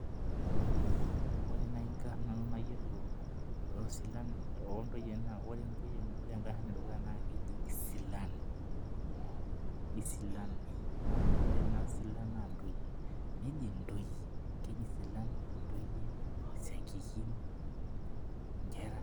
Ore nai nkarn nanu nayiolo osilan ontoyie ore inkarn edukuya nakeji isilal, ore naa silal naa ntoyie, keji silal ntoyie, isiankikin, nkera.